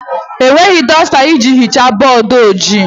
Enweghị dọsta iji hichaa bọọdụ ojii.